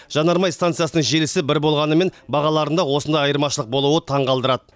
жанармай станциясының желісі бір болғанымен бағаларында осындай айырмашылық болуы таңғалдырады